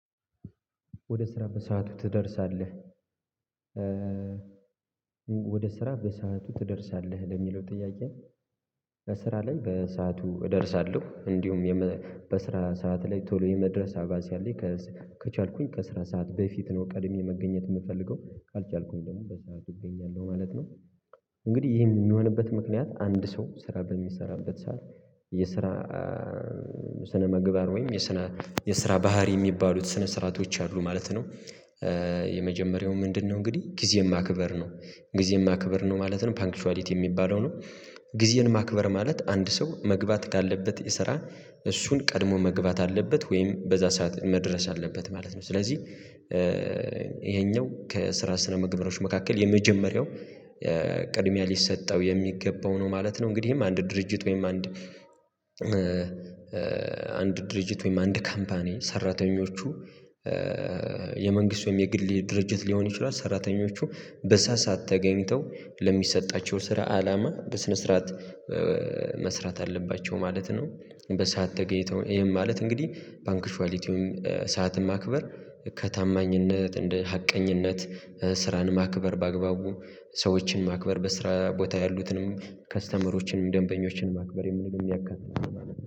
ወደ ስራ በሰአቱ ትደርሳለህ? ወደ ስራ በሰአቱ ትደርሳለህ ለሚለው ጥያቄ። በስራ ላይ በሰአቱ እደርሳለሁ እንዲሁም በስራ ሰዓት ላይ ቶሎ የመድረስ አባዜ አለኝ። ከቻልኩኝ ከስራ ሰዓት በፊት ነው ቀድሜ መገኘት የምፈልገው ካልቻልኩኝ ደግሞ በሰአቱ እገኛለሁ ማለት ነው። እንግዲህ ይሄ የሚሆንበት ምክንያት አንድ ሰው ስራ በሚሰራበት ሰዓት የስራ ስነ-ምግባር ወይም የስነ የስራ ባህሪ የሚባሉት ስነ-ስርዓቶች አሉ ማለት ነው። የመጀመሪያው ምንድነው እንግዲህ ጊዜ ማክበር ነው ጊዜ ማክበር ነው ማለት ነው ፓንክቿሊቲ የሚባለው ነው። ጊዜን ማክበር ማለት አንድ ሰው መግባት ካለበት የስራ እሱን ቀድሞ መግባት አለበት ወይም በዛ ሰዓት መድረስ አለበት ማለት ነው። ስለዚህ ይሄኛው ከስራ ስነ-ምግባሮች መካከል የመጀመሪያው ቅድሚያ ሊሰጠው የሚገባው ነው ማለት ነው። እንግዲህም አንድ ድርጅት ወይም አንድ አንድ ድርጅት ወይም አንድ ካምፓኒ ሰራተኞቹ የመንግስት ወይም የግል ድርጅት ሊሆን ይችላል። ሰራተኞቹ በሳሳት ተገኝተው ለሚሰጣቸው ስራ አላማ በስነ ስርዓት መስራት አለባቸው ማለት ነው። በሰአት ተገኝተው ይሄን ማለት እንግዲህ ፓንክቿሊቲውን ሰዓትን ማክበር ከታማኝነት እንደ ሀቀኝነት ስራን ማክበር በአግባቡ ሰዎችን ማክበር በስራ ቦታ ያሉትንም ከስተመሮችንም ደንበኞችን ማክበር የሚል የሚያጋጥመን